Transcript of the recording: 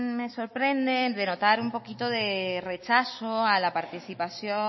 me sorprende el denotar un poquito de rechazo a la participación